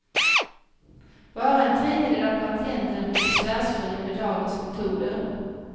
Bara en tredjedel av patienterna blir besvärsfria med dagens metoder.